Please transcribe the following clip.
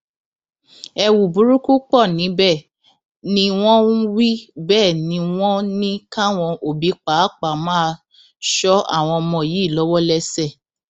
ẹwù burúkú pọ níbẹ ni wọn wí bẹẹ ni wọn ní káwọn òbí pàápàá máa ṣọ àwọn ọmọ yìí lọwọlẹsẹ